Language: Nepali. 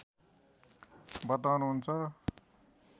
बताउनुहुन्छ